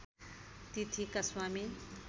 तिथिका स्वामी